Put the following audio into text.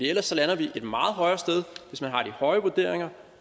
ellers lander vi et meget højere sted hvis man har de høje vurderinger